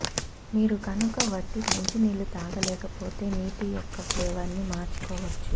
మీరు కనుక వట్టి మంచి నీళ్లు తాగ లేకపోతే నీటి యొక్క ఫ్లేవర్ని మార్చుకోవచ్చు